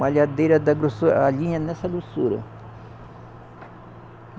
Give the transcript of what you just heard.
Malhadeira da grossu, a linha nessa grossura.